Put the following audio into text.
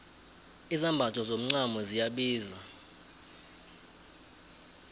izambatho zomacamo ziyabiza